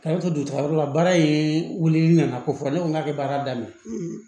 A y'a to dutayɔrɔ la baara in wulili nana ko fɔ ne ko n k'a ye baara daminɛ